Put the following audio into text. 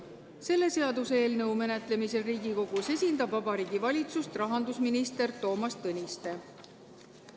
Selle seaduseelnõu menetlemisel Riigikogus esindab Vabariigi Valitsust rahandusminister Toomas Tõniste.